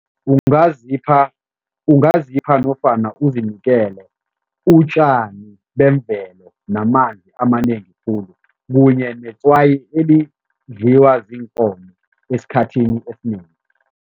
Ungazipha ungazipha nofana uzinikele utjani bemvelo namanzi amanengi khulu kunye netswayi elidliwa ziinkomo esikhathini esinengi.